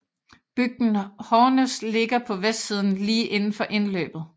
Bygden Hårnes ligger på vestsiden lige indenfor indløbet